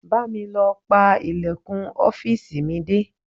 Bá mi lọ pa ìlẹ̀kùn ọ́fíìsì mi dé.